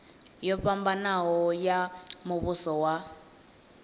yo fhambanaho ya muvhuso wa